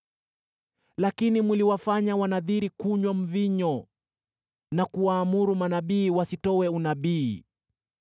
“Lakini mliwafanya Wanadhiri kunywa mvinyo na kuwaamuru manabii wasitoe unabii.